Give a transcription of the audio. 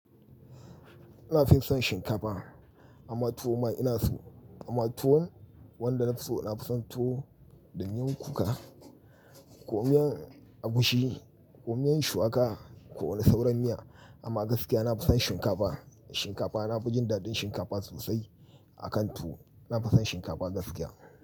Ina fi son shinkafa amma tuwo ma ina so, amma tuwon wanda nafi so ina fi son tuwo da miyan kuka, ko miyan agushi, komiyan shuwaka, ko wani sauran miya. Amma gaskiya na fi son shinkafa, shinkafa na fi jin daɗin shinkafa sosai a kan tuwo. Na fi son shinkafa gaskiya.